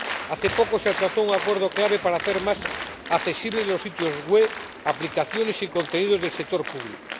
Hace poco se alcanzó un acuerdo clave para hacer más accesibles los sitios web, aplicaciones y contenidos del sector público.